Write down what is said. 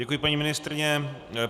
Děkuji, paní ministryně.